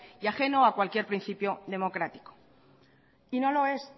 y ajeno a cualquier principio democrático y no lo es